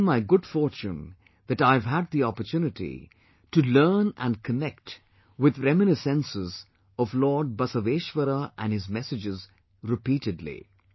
It has been my good fortune that I have had the opportunity to learn and connect with reminiscences of Lord Basaveshwara and his messages repeatedly